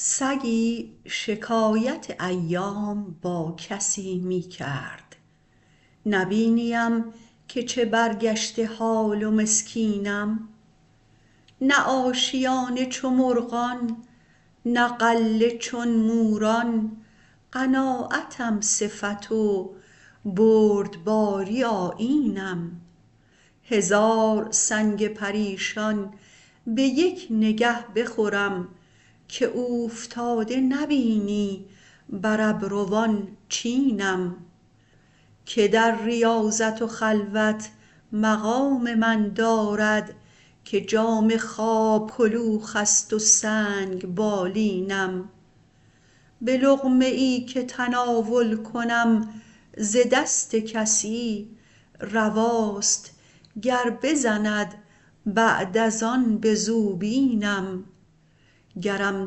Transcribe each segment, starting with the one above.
سگی شکایت ایام با کسی می کرد نبینی ام که چه برگشته حال و مسکینم نه آشیانه چو مرغان نه غله چون موران قناعتم صفت و بردباری آیینم هزار سنگ پریشان به یک نگه بخورم که اوفتاده نبینی بر ابروان چینم که در ریاضت و خلوت مقام من دارد که جامه خواب کلوخست و سنگ بالینم به لقمه ای که تناول کنم ز دست کسی رواست گر بزند بعد از آن به زوبینم گرم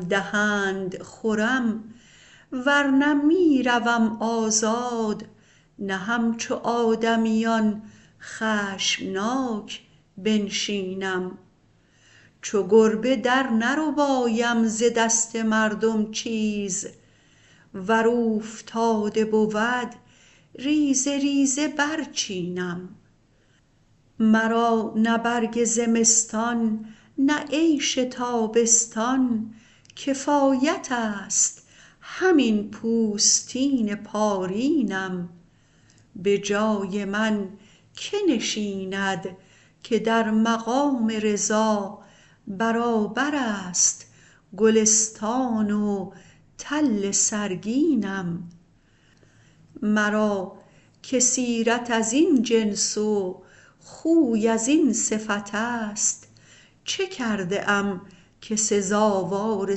دهند خورم ورنه می روم آزاد نه همچو آدمیان خشمناک بنشینم چو گربه درنربایم ز دست مردم چیز ور اوفتاده بود ریزه ریزه برچینم مرا نه برگ زمستان نه عیش تابستان کفایتست همین پوستین پارینم به جای من که نشیند که در مقام رضا برابر است گلستان و تل سرگینم مرا که سیرت ازین جنس و خوی ازین صفتست چه کرده ام که سزاوار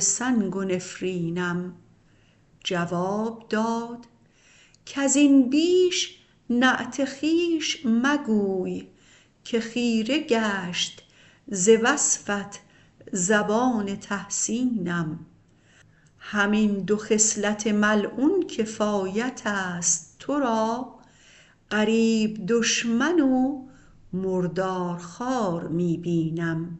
سنگ و نفرینم جواب داد کزین بیش نعت خویش مگوی که خیره گشت ز وصفت زبان تحسینم همین دو خصلت ملعون کفایتست تو را غریب دشمن و مردارخوار می بینم